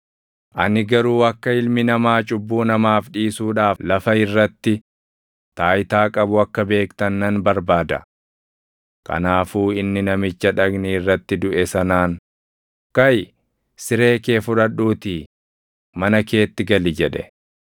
Ani garuu akka Ilmi Namaa cubbuu namaaf dhiisuudhaaf lafa irratti taayitaa qabu akka beektan nan barbaada.” Kanaafuu inni namicha dhagni irratti duʼe sanaan, “Kaʼi; siree kee fudhadhuutii mana keetti gali” jedhe.